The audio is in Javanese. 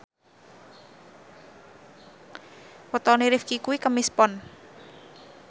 wetone Rifqi kuwi Kemis Pon